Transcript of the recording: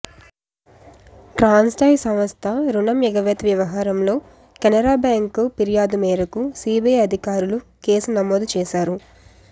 Transstroy సంస్థ రుణం ఎగవేత వ్యవహారంలో కెనరా బ్యాంక్ ఫిర్యాదు మేరకు సీబీఐ అధికారులు కేసు నమోదు చేశారు